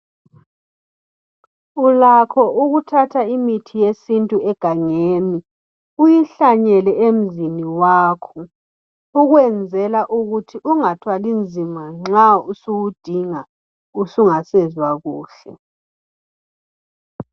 Ulakho ukuthatha imithi yesintu egangeni uyihlanyele emzini wakho ukwenzela ukuthi ungathwali nzima nxa usuwudinga usungasezwa kuhle.